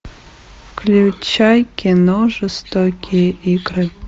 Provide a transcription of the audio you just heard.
включай кино жестокие игры